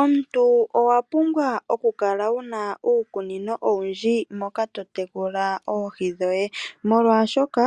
Omuntu owapumbwa oku kala wuna uukunino owundji moka to tekula oohi dhoye . Molwaashoka